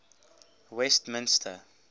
westmister